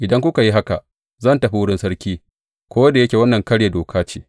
Idan aka yi haka, zan tafi wurin sarki, ko da yake wannan karya doka ce.